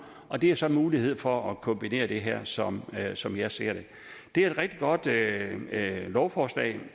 og det giver så mulighed for at kombinere det her som jeg som jeg ser det det er et rigtig godt lovforslag